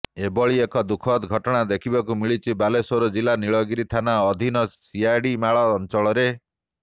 ଏଭଳି ଏକ ଦୁଃଖଦ ଘଟଣା ଦେଖିବାକୁ ମିଳିଛି ବାଲେଶ୍ବର ଜିଲ୍ଲା ନୀଳଗିରି ଥାନା ଅଧୀନ ସିଆଡିମାଳ ଅଞ୍ଚଳରେ